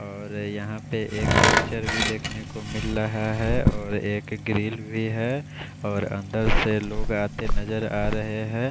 और अः यहाँ पर एक पिक्चर भी देखने को मिल रहा है और एक ग्रिल भी है और अंदर से लोग आते नज़र आरहे है।